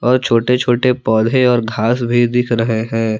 और छोटे छोटे पौधे और घास भी दिख रहे हैं।